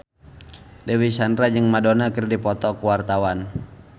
Dewi Sandra jeung Madonna keur dipoto ku wartawan